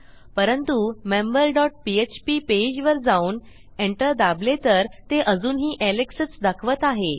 परंतु member dot PHP पेजवर जाऊन एंटर दाबले तर ते अजूनही alexच दाखवत आहे